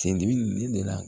Sen dimi de la